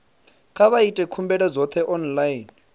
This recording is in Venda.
kha vha ite khumbelo dzoṱhe online